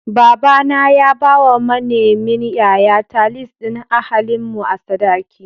Baba na ya bawa manemin yayata lis ɗin ahalin mu a sadaki.